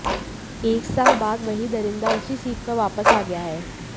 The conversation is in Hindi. एक साल बाद वही दरिंदा उसी सीट पर वापस आ गया है